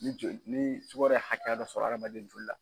Ni joli ni sukaro ye hakɛya dɔ sɔrɔ adamaden joli la.